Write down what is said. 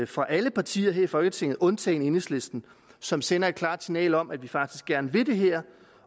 fra alle partier her i folketinget undtagen enhedslisten som sender et klart signal om at vi faktisk gerne vil det her